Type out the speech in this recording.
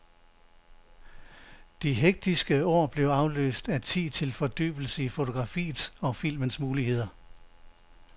De hektiske år blev afløst af tid til fordybelse i fotografiets og filmens muligheder.